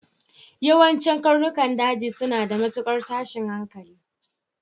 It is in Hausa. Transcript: Yawancin karnukan daji suna da matukar tashin hankali.